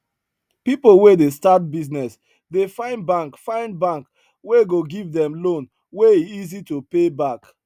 people wey dey start business dey find bank find bank wey go give dem loan wey easy to pay back